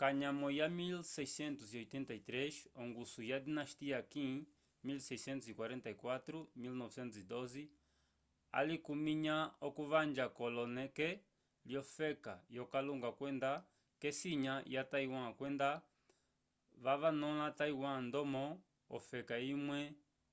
kanyamo ya 1683 ongusu ya dinastia qin 1644-1912 alikuminya okuvanja kolone lyo feka yo kalunga kwenda kesinya ya taiwan kwenda vavanula taiwan ndomo ofeka imwe